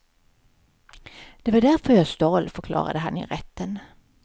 Det var därför jag stal, förklarade han i rätten.